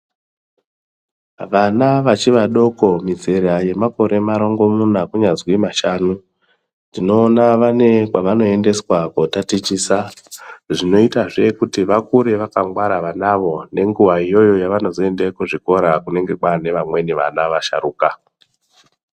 Vana vachi vadoko mizera yemakore marongomuna kunyazwi mashanu tinoona vane kwevanoendeswa kootatichisa, zvinoitazve kuti vakure vakangwara vanavo nenguwa iyoyo yevanozoende kuzvikora kunenge kwaanevamweni vana vasharuka.